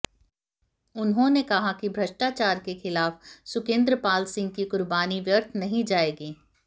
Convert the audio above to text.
उन्होंने कहा कि भ्रष्टाचार के खिलाफ सुकंेदर पाल सिंह की कुर्बानी व्यर्थ नहीं जाएगी